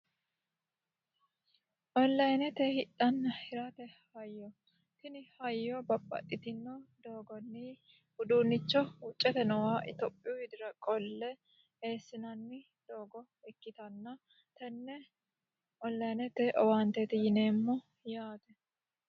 Onlinete hidhanna hirate hayyo tini hayyo babbaxitinno doogonni uduunnicho wucvete nooha Ethiophiyh widira qolle eesinanni doogo ikkitanna tenne onlinete owaaniteeti yineemmo yaate